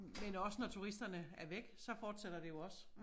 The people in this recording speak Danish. Men også når turisterne er væk så fortsætter det jo også